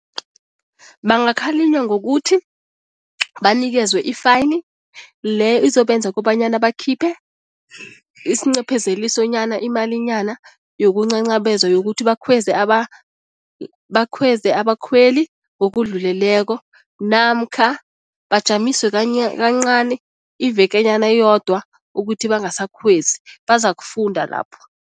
Bangakhalinywa ngokuthi banikezwe i-fine, le izobenza kobanyana bakhiphe isincephezelisonyana, imalinyana yokuncancabeza, yokuthi bakhweze bakhweze abakhweli ngokudluleleko namkha bajamiswe kancani ivekenyana eyodwa ukuthi bangasakhwezi, bazakufunda lapho.